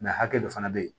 hakɛ dɔ fana bɛ yen